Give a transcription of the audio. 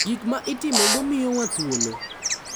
Gik ma itimogo miyowa thuolo .